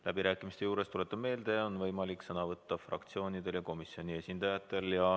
Läbirääkimiste puhul tuletan meelde, et sõna on võimalik võtta fraktsioonidel ja komisjoni esindajatel.